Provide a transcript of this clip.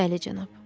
Bəli, cənab.